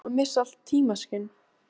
Eða ertu búinn að missa allt tímaskyn?